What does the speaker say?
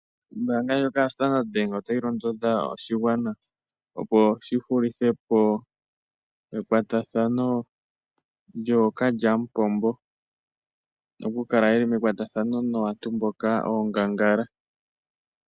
Ombaanga ndjoka yo Sandard bank otayi londodha oshigwana opo shi hulithe po ekwatathano lyookalyamupombo, oku kala yeli mekwatathano naantu mboka oongangala.